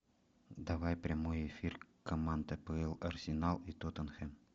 давай прямой эфир команд апл арсенал и тоттенхэм